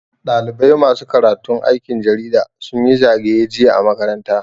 Ɗalibai masu karatun aikin jarida sun yi zagaye jiya a makaranta.